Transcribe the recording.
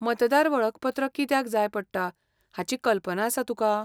मतदार वळखपत्र कित्याक जाय पडटा हाची कल्पना आसा तुका?